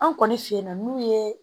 An kɔni fe yen nɔ n'u ye